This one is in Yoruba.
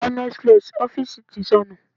Hynetflex ọ́fíìsì ti sọnù.